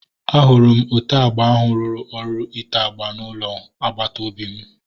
Ahụrụ m ote agba ahu ruru ọrụ ite agba na ụlọ agbata obi m